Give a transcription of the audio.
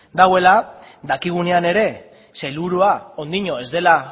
dagoela dakigunean gainera sailburua oraindik ez dela